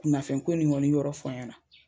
Kunnafɛn ko nin kɔni yɔrɔ fɔ n ɲɛna.